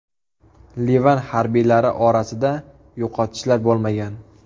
Livan harbiylari orasida yo‘qotishlar bo‘lmagan.